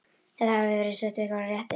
Þið hafið verið svipt ykkar rétti.